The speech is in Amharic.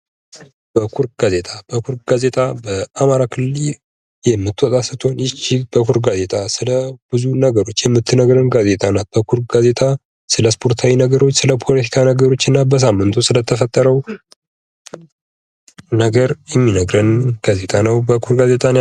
በኩር ጋዜጣ:- በኩር ጋዜጣ አማራ ክልል የምትወጣ ስትሆን ይች በኩር ጋዜጣ ስለሁሉም ነገር የምትነግረን ጋዜጣ ናት። በኩር ጋዜጣ ስለ እስፖርታዊ ነገሮች ስለፖለታካ ነገሮች እና በሳምንቱ ስለተፈጠረዉ ነገር የሚነግረን ጋዜጣ ነዉ።